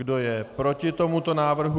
Kdo je proti tomuto návrhu?